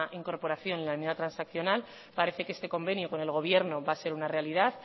incorporación a la enmienda transaccional parece que este convenio con el gobierno va a ser una realidad